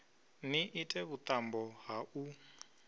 ni ite vhuṱambo ha u